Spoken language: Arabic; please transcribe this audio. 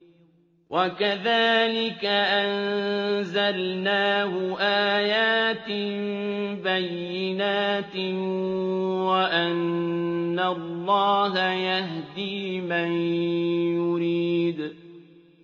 وَكَذَٰلِكَ أَنزَلْنَاهُ آيَاتٍ بَيِّنَاتٍ وَأَنَّ اللَّهَ يَهْدِي مَن يُرِيدُ